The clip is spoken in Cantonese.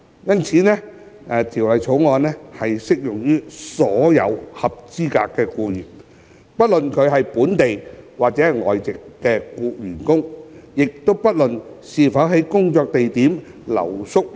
因此，《條例草案》適用於所有合資格僱員，不論是本地或外籍員工，亦不論僱員是否在工作地點留宿。